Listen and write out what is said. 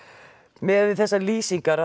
miðað við þessar lýsingar